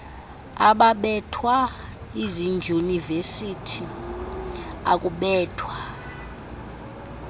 ababethwa ezidyunivesithi akubethwa